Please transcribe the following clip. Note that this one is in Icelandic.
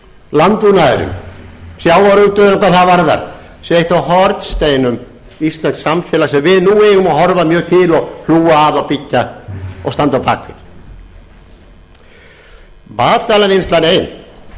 landbúnaðurinn sjávarútvegurinn hvað það varðar sé eitt af hornsteinum íslensks samfélags sem við nú eigum að horfa mjög til og hlúa að og byggja og standa á bak við matvælavinnslan ein